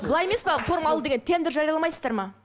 былай емес пе форма ал деген тендер жарияламайсыздар ма